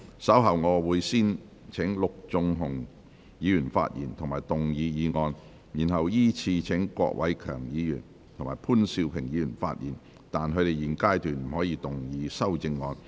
稍後我會先請陸頌雄議員發言及動議議案，然後依次序請郭偉强議員及潘兆平議員發言，但他們在現階段不可動議修正案。